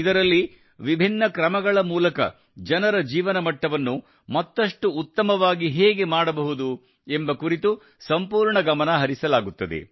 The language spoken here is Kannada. ಇದರಲ್ಲಿ ವಿಭಿನ್ನ ಕ್ರಮಗಳ ಮೂಲಕ ಜನರ ಜೀವನ ಮಟ್ಟವನ್ನು ಮತ್ತಷ್ಟು ಉತ್ತಮವಾಗಿ ಹೇಗೆ ಮಾಡಬಹುದು ಎಂಬ ಕುರಿತು ಸಂಪೂರ್ಣ ಗಮನ ಹರಿಸಲಾಗುತ್ತದೆ